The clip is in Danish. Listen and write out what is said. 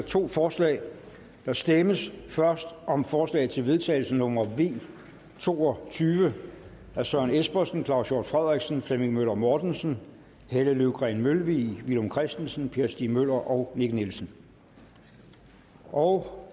to forslag der stemmes først om forslag til vedtagelse nummer v to og tyve af søren espersen claus hjort frederiksen flemming møller mortensen helle løvgreen mølvig villum christensen per stig møller og nick nielsen og